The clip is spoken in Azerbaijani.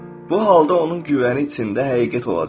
Bu halda onun güvəni içində həqiqət olacaq.